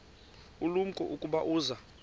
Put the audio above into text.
ulumko ukuba uza